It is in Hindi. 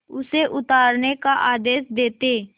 उसे उतारने का आदेश देते